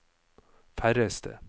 færreste